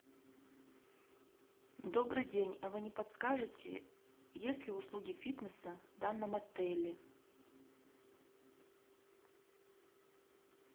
добрый день а вы не подскажите есть ли услуги фитнеса в данном отеле